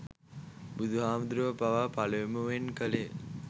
බුදුහාමුදුරුවන් පවා පළමුවෙන් කළේ